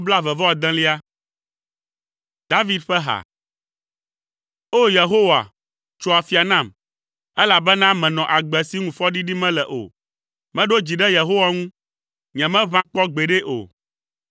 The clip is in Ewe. David ƒa ha. O! Yehowa, tso afia nam, elabena menɔ agbe si ŋu fɔɖiɖi mele o. Meɖo dzi ɖe Yehowa ŋu, nyemeʋã kpɔ gbeɖe o.